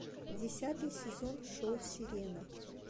десятый сезон шоу сирена